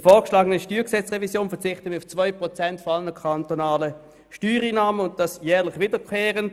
Bei der vorgeschlagenen StG-Revision verzichten wir auf 2 Prozent aller kantonalen Steuereinnahmen und dies jährlich wiederkehrend.